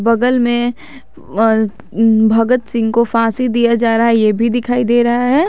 बगल में अ भगत सिंह को फांसी दिया जा रहा है ये भी दिखाई दे रहा है।